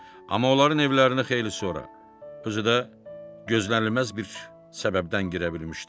Amma onların evlərinə xeyli sonra, özü də gözlənilməz bir səbəbdən girə bilmişdi.